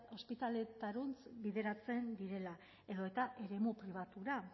ospitaletarantz bideratzen direla edota eremu pribatura